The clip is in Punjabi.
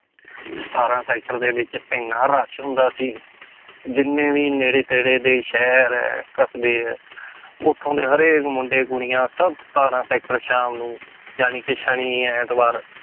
ਸਤਾਰਾਂ sector ਦੇ ਵਿੱਚ ਇੰਨਾ rush ਹੁੰਦਾ ਸੀ ਜਿੰਨੇ ਵੀ ਨੇੜੇ ਤੇੜੇ ਦੇ ਸ਼ਹਿਰ ਹੈ ਕਸ਼ਬੇ ਹੈ ਉੱਥੋਂ ਦੇ ਹਰੇਕ ਮੁੰਡੇ ਕੁੜੀਆਂ ਸਭ ਸਤਾਰਾਂ sector ਸ਼ਾਮ ਨੂੰ ਜਾਣੀ ਕਿ ਸ਼ਨੀ ਐਤਵਾਰ